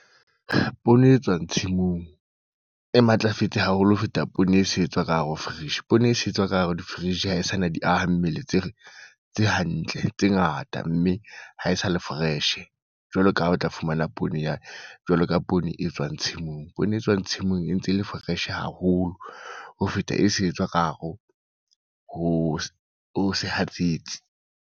Poone e tswang tshimong, e matlafetse haholo ho feta poone e se etswa ka hare ho fridge. Poone e se etswa ka hare ho fridge ha e sa na di aha mmele tse tse hantle, tse ngata. Mme ha e sa le fresh, jwalo ka ha o tla fumana poone yane. Jwalo ka poone e tswang tshimong, poone e tswang tshimong e ntse e le fresh haholo, ho feta e se etswa ka hare ho ho sehatsetsi.